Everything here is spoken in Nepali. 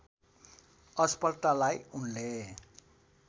असफलतालाई उनले